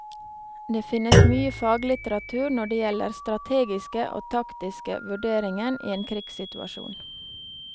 Det finnes mye faglitteratur når det gjelder strategiske og taksiske vurderingen i en krigssituasjon.